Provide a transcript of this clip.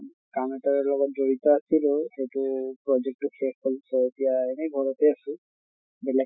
কাম এটাৰ লগত জড়িত আছিলোঁ, এইটো project টো শেষ হʼল so এতিয়া এনে ঘৰতে আছো। বেলেগ